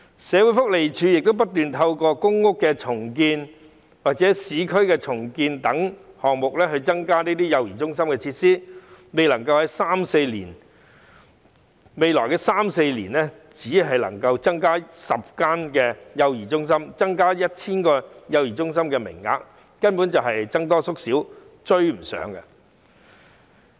社會福利署不斷透過公屋重建或市區重建等項目增加幼兒中心的設施，而未來三四年只能夠增加10間幼兒中心及 1,000 個幼兒中心的服務名額，根本就是僧多粥少，追不上需求。